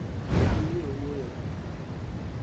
fulham nie wuoyo